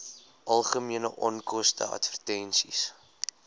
algemene onkoste advertensies